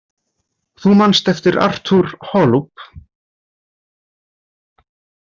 Þú manst eftir Artur Holub.